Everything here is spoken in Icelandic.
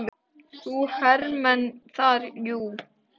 Það eru hermenn þar, jú.